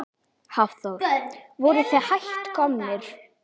Hafþór: Voruð þið hætt komnir?